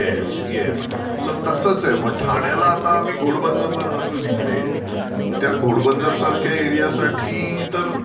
Yes. Yes. So तसाच आहे मग ठाण्याला आता आम्ही घोडबंदरला राहतो जिकडे त्या घोडबंदर सारख्या एरिया साठी तर